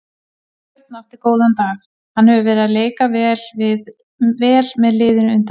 Björn átti góðan dag, hann hefur verið að leika vel með liðinu undanfarið.